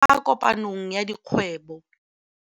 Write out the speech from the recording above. kwa kopanong ya dikgwêbô.